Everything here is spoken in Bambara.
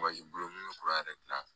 yɛrɛ dilan